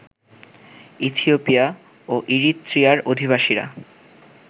Ethiopia ও ইরিত্রিয়ার অধিবাসীরা